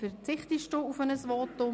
– Das ist der Fall.